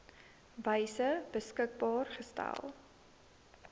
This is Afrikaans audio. wyse beskikbaar gestel